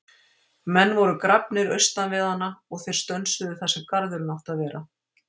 Menn voru grafnir austan við hana og þeir stönsuðu þar sem garðurinn átti að vera.